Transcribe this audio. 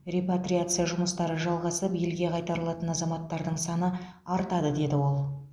репатриация жұмыстары жалғасып елге қайтарылатын азаматтардың саны артады деді ол